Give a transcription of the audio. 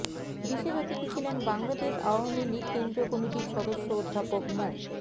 বিশেষ অতিথি ছিলেন বাংলাদেশ আওয়ামী লীগ কেন্দ্রীয় কমিটির সদস্য অধ্যাপক মো